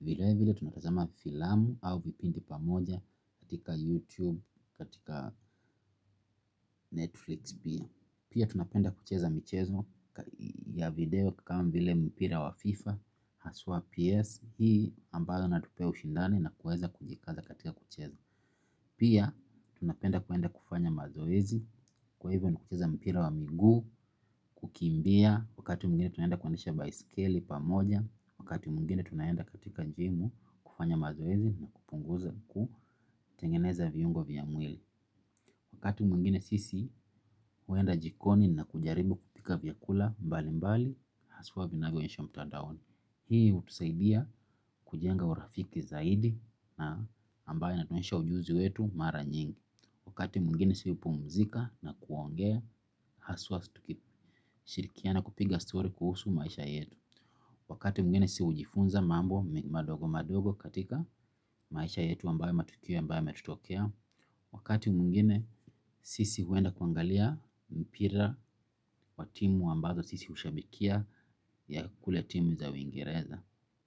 vile vile tunatazama filamu au vipindi pamoja katika YouTube, katika Netflix pia. Pia tunapenda kucheza michezo ya video kama vile mpira wa FIFA haswa PS, hii ambayo inatupea ushindani na kuweza kujikaza katika kucheza pia tunapenda kuenda kufanya mazoezi kwa hivyo ni kucheza mpira wa miguu kukimbia wakati mwingine tunaenda kuendesha baisikeli pamoja wakati mwingine tunaenda katika jimu kufanya mazoezi na kupunguza, kutengeneza viungo vya mwili wakati mwingine sisi huenda jikoni na kujaribu kupika vyakula mbali mbali haswa vinavyo onyeshwa mtandaoni hii hutusaidia kujenga urafiki zaidi na ambaye inatuonyesha ujuzi wetu mara nyingi wakati mwingine si hupumzika na kuongea haswa shirikiana kupiga story kuhusu maisha yetu wakati mwingine si hujifunza mambo madogo madogo katika maisha yetu ambaye matukio ambaye yametutokea wakati mwingine sisi huenda kuangalia mpira wa timu ambazo sisi hushabikia ya kule timu za wingereza.